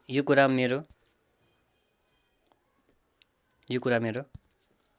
यो कुरा मेरो